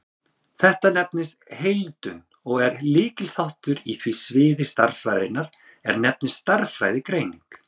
þetta nefnist heildun og er lykilþáttur á því sviði stærðfræðinnar er nefnist stærðfræðigreining